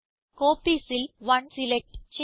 Copiesൽ 1 select ചെയ്യുക